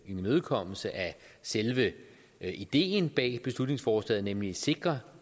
imødekommelse af selve ideen bag beslutningsforslaget nemlig at sikre